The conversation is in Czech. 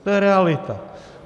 To je realita.